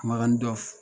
Makan dɔ f